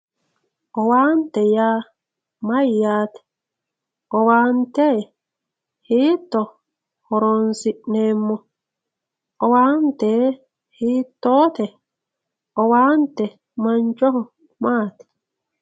owante yaa mayyate owaante hiito horonsi'neemmo owaante hiittoote owante mancho maati